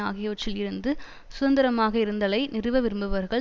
ஆகியவற்றில் இருந்து சுதந்திரமாக இருந்தலை நிறுவவிரும்புவர்கள்